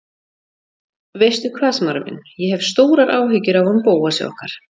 Veistu hvað, Smári minn, ég hef stórar áhyggjur af honum Bóasi okkar.